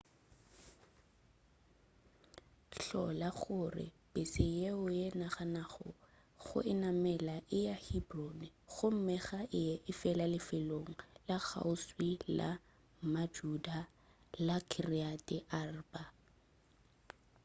hlola gore pese yeo o naganago go e namela e ya hebron gomme ga e ye fela lefelong la kgauswi la majuda la kiryat arba